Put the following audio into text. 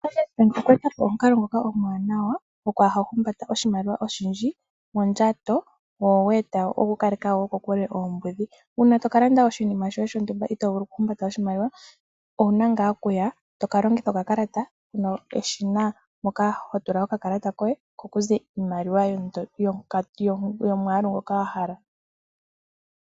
Standard bank okwe eta po omukalo ngoka omwaanawa gokwaa humbata oshimaliwa oshindji mondjato go ogwe eta wo oku kaleka wo kokule oombudhi. Una toka landa oshinima shontumba ito vulu oku humbata oshimaliwa, owuna ngaa oku ya toka longitha okakalata keshina moka ho tula okakalata koye. Ko kuze iimaliwa yomwaalu ngoka wa hala.